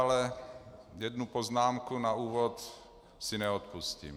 Ale jednu poznámku na úvod si neodpustím.